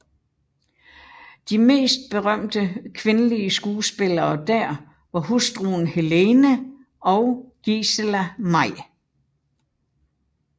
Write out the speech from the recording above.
De mest berømte kvindelige skuespillere dér var hustruen Helene og Gisela May